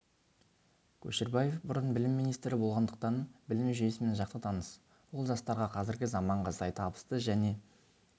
көшербаев бұрын білім министрі болғандықтан білім жүйесімен жақсы таныс ол жастарға қазіргі заманға сай табысты және